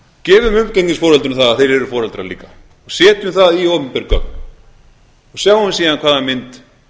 gefum umgengnisforeldrum það að þeir eru foreldrar líka og setjum það í opinber gögn og sjáum síðan hvaða mynd